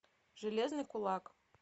железный кулак